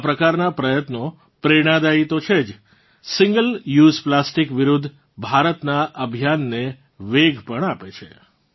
આ પ્રકારનાં પ્રયત્નો પ્રેરણાદાયી તો છે જ સિંગલ યુએસઇ પ્લાસ્ટિક વિરુદ્ધ ભારતનાં અભિયાનને વેગ પણ આપે છે